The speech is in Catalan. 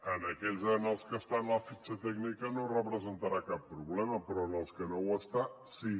en aquells en els que està a la fitxa tècnica no representarà cap problema però en els que no ho està sí